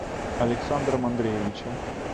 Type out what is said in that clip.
александром андреевичем